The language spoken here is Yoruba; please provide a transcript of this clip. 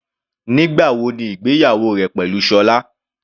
Nígbà wo ni ìgbéyàwó rẹ pẹ̀lú Sola?